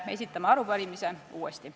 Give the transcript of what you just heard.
Esitame arupärimise uuesti.